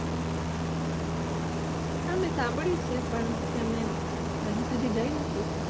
હા મેં શામભાડ્યું છે પણ હજુ સુધી ગયી નથી